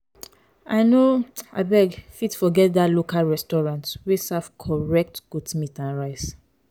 i no um fit forget that local restaurant wey serve correct goat meat and rice.